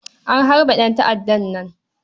A harbe ɗanta'addan nan.